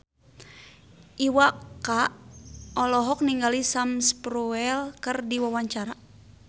Iwa K olohok ningali Sam Spruell keur diwawancara